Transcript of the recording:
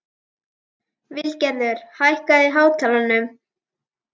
Vilgerður, hækkaðu í hátalaranum.